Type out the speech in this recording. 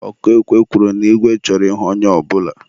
ọkụ ekwe kwuru na igwe chọrọ ịhụ onye ọbụla.